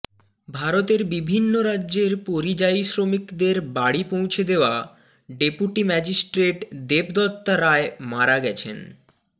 ভারতের বিভিন্ন রাজ্যের পরিযায়ী শ্রমিকদের বাড়ি পৌঁছে দেয়া ডেপুটি ম্যাজিস্ট্রেট দেবদত্তা রায় মারা গেছেন